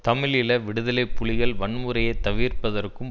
தமிழீழ விடுதலை புலிகள் வன்முறையை தவிர்ப்பதற்கும்